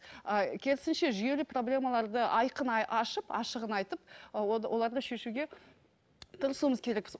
ы кересінше жүйелі проблемаларды айқын ашып ашығын айтып оларды шешуге тырысуымыз керекпіз